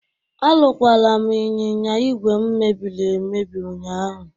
Arụkwara m ịnyịnya ìgwè m mebiri emebi ụnyaahụ.